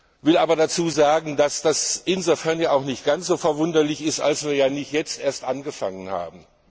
Ich will aber dazu sagen, dass das insofern nicht ganz so verwunderlich ist, als wir ja nicht erst jetzt angefangen haben.